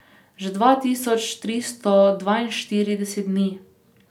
Že dva tisoč tristo dvainštirideset dni.